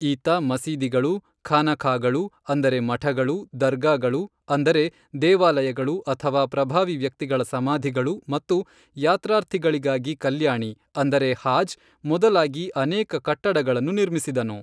ಈತ ಮಸೀದಿಗಳು, ಖಾನಖಾಗಳು, ಅಂದರೆ ಮಠಗಳು, ದರ್ಗಾಗಳು, ಅಂದರೆ ದೇವಾಲಯಗಳು ಅಥವಾ ಪ್ರಭಾವಿ ವ್ಯಕ್ತಿಗಳ ಸಮಾಧಿಗಳು ಮತ್ತು ಯಾತ್ರಾರ್ಥಿಗಳಿಗಾಗಿ ಕಲ್ಯಾಣಿ ಅಂದರೆ ಹಾಜ್, ಮೊದಲಾಗಿ ಅನೇಕ ಕಟ್ಟಡಗಳನ್ನು ನಿರ್ಮಿಸಿದನು.